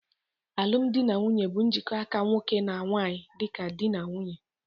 Alụm dị na nwunye bu njikota aka nwoke na nwanyị dịka dị na nwunye.